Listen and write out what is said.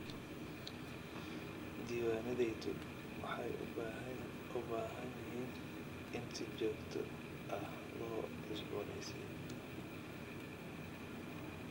Diiwaanadayadu waxay u baahan yihiin in si joogto ah loo cusbooneysiiyo.